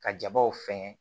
Ka jabaw sɛŋɛ